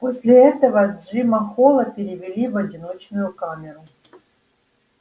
после этого джима холла перевели в одиночную камеру